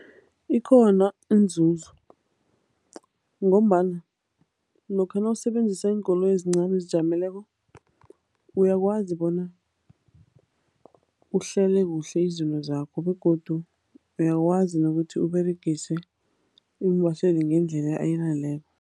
Ikhona iinzuzo ngombana lokha nawusebenzisa iinkoloyi ezincani ezizijameleko, uyakwazi bona uhlele kuhle izinto zakho begodu uyakwazi nokuthi uberegise iimbaseli ngendlela